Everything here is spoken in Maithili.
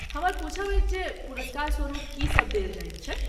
हमर पूछब अछि जे पुरस्कारस्वरुप की सभ देल जाइत छैक?